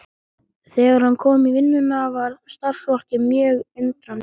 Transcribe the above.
Þegar hann kom í vinnuna varð starfsfólkið mjög undrandi.